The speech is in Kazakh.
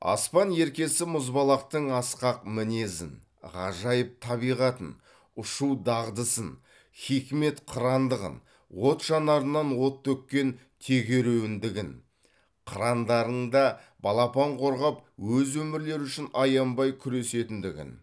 аспан еркесі мұзбалақтың асқақ мінезін ғажайып табиғатын ұшу дағдысын хикмет қырандығын от жанарынан от төккен тегеруіндігін қырандардың да балапан қорғап өз өмірлері үшін аянбай күресетіндігін